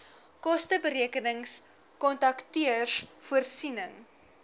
kosteberekenings kontakteurs voorsiening